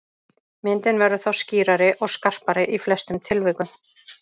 Myndin verður þá skýrari og skarpari í flestum tilvikum.